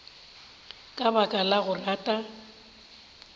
ka baka la go rata